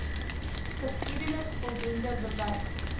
geskiedenis voldoende bewys